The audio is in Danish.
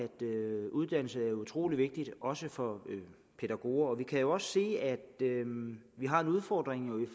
uddannelse er utrolig vigtigt også for pædagoger vi kan jo også se at vi har en udfordring i